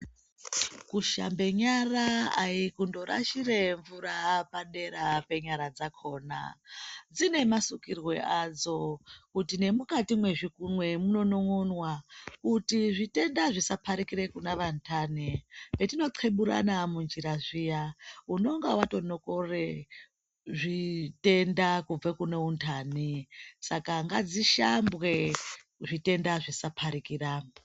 Kushambe nyara ayi kundorashira mvura padera penyara dzakona dzinemasukirwe adzo kuti nemukati mezvikunwe munonon'onwa kuti zvitenda zvisaparikire kunavandani hetinoqeburana munjira zviya unenge watonokora zvitenda kubva kune undani saka ngadzishambwe zvitenda zvisaparikira.